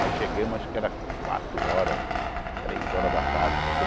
Nós chegamos, acho que era quatro horas, três horas da tarde.